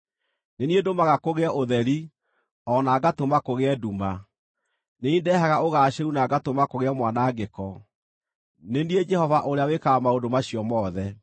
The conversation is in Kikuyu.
Nĩ niĩ ndũmaga kũgĩe ũtheri, o na ngatũma kũgĩe nduma, nĩ niĩ ndehaga ũgaacĩru na ngatũma kũgĩe mwanangĩko; Nĩ niĩ, Jehova, ũrĩa wĩkaga maũndũ macio mothe.